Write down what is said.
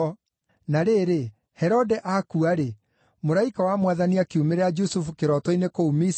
Na rĩrĩ, Herode akua-rĩ, mũraika wa Mwathani akiumĩrĩra Jusufu kĩroto-inĩ kũu Misiri,